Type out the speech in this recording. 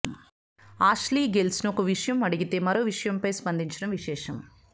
Ashley గిల్స్ను ఒక విషయం అడిగితే మరో విషయంపై స్పందించడం విశేషం